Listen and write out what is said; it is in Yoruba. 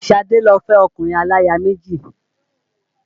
Ṣadé lọ fẹ́ ọkùnrin aláya méjì